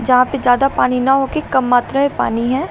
यहां पे ज्यादा पानी न हो के कम मात्रा में पानी है।